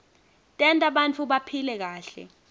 tenta bantfu baphile kahle